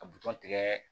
Ka butɔn tigɛ